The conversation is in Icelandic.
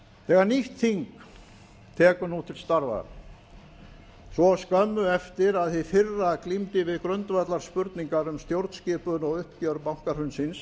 þegar nýtt þing tekur nú til starfa svo skömmu eftir að hið fyrra glímdi við grundvallarspurningar um stjórnskipun og uppgjör bankahrunsins